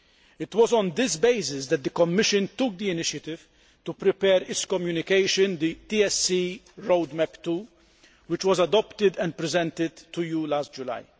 It was on this basis that the Commission took the initiative to prepare its communication, The TSE Road Map 2' which was adopted and presented to you last July.